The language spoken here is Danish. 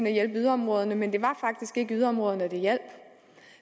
at hjælpe yderområderne men det var faktisk ikke yderområderne det hjalp